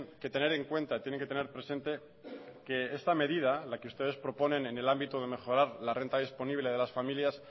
que tener en cuenta tienen que tener presente que esta medida las que ustedes proponen en el ámbito de mejorar la renta disponible a las familias